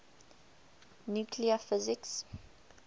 nuclear physics